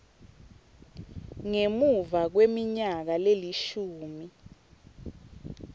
ngemuva kweminyaka lelishumi